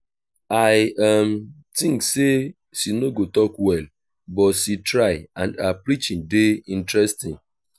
i um think say she no go talk well but she try and her preaching dey interesting